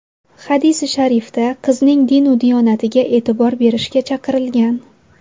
Hadisi sharifda qizning dinu diyonatiga e’tibor berishga chaqirilgan.